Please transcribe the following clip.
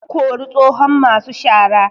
An kori tsohon masu shara